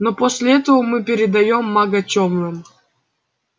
но после этого мы передаём мага тёмным